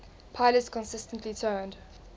pilots consistently turned